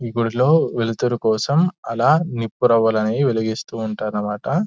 ఈ గుడిలో వెలుతురు కోసం అలా నిపురవ్వలు అనేవి వెలిగిస్తువుంటారు అన్నమాట.